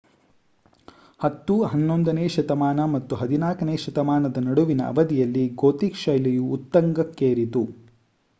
10 - 11ನೇ ಶತಮಾನ ಮತ್ತು 14ನೇ ಶತಮಾನದ ನಡುವಿನ ಅವಧಿಯಲ್ಲಿ ಗೋಥಿಕ್ ಶೈಲಿಯು ಉತ್ತುಂಗಕ್ಕೇರಿತು